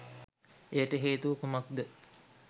එයට හේතුව කුමක්ද?